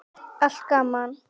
Allt gaman.